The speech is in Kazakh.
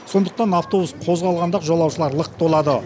сондықтан автобус қозғалғанда жолаушылар лық толады